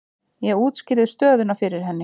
Ég útskýrði stöðuna fyrir henni.